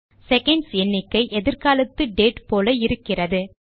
seconds எண்ணிக்கை எதிர்காலத்து date போல இருக்கிறது